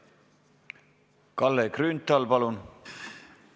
Kalle Grünthal, palun!